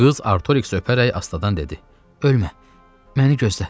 Qız Artoriksi öpərək astadan dedi: “Ölmə, məni gözlə.